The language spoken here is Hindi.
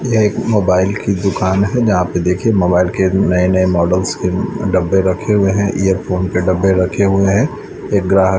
यह एक मोबाइल की दुकान है जहां पे देखिए मोबाइल के नए-नए मॉडल्स के डब्बे रखे हुए हैं इयर फोन के डब्बे रखे हुए हैं एक ग्राहक --